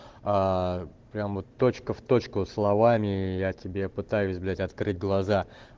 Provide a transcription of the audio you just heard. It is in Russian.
прям вот точка в точку словами я тебе пытаюсь блять открыть глаза